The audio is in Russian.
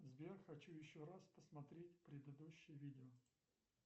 сбер хочу еще раз посмотреть предыдущее видео